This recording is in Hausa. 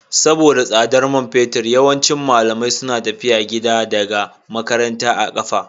Saboda tsadar man fetur, yawancin malamai suna tafiya gida daga makaranta a kafa